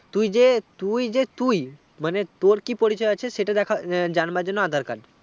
তুই যে তুই যে তুই মানে তোর কি পরিচয় আছে সেটা দেখাজানবার জন aadhar card